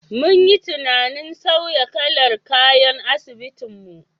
Mun yi tunanin sauya kalar kayan asibitin mu.